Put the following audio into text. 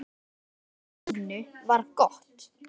Samband okkar Stínu var gott.